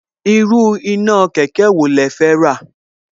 Irú iná kẹ̀kẹ́ wo ni ẹ fẹ́ rà